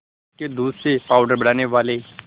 भैंस के दूध से पावडर बनाने वाले